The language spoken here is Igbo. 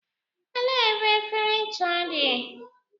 Elee ebe efere ncha dị?